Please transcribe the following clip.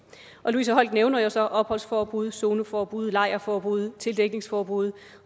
louise holck nævner jo så opholdsforbud zoneforbud lejrforbud tildækningsforbud